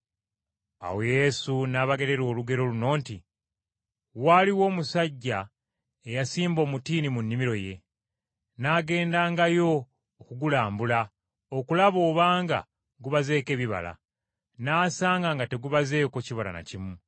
Awo Yesu n’abagerera olugero luno nti, “Waaliwo omusajja eyasimba omutiini mu nnimiro ye. N’agendangayo okugulambula okulaba obanga gubazeeko ebibala, n’asanga nga tegubazeeko kibala na kimu.